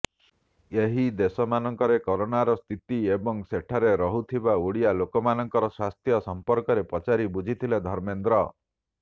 ଏହି ଦେଶମାନଙ୍କରେ କରୋନାର ସ୍ଥିତି ଏବଂ ସେଠାରେ ରହୁଥିବା ଓଡ଼ିଆ ଲୋକମାନଙ୍କର ସ୍ୱାସ୍ଥ୍ୟ ସମ୍ପର୍କରେ ପଚାରି ବୁଝିଥିଲେ ଧର୍ମେନ୍ଦ୍ର